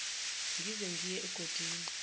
ngize ngiye egodini